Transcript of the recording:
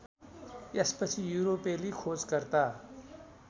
यसपछि युरोपेली खोजकर्ता